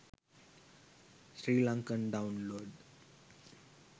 srilankan download